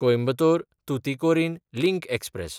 कोयंबतोर–तुतिकोरीन link express